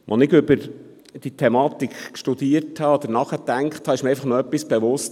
Als ich über diese Thematik nachdachte, wurde mir noch etwas bewusst.